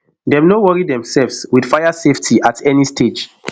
dem no worry themselves wit fire safety at any stage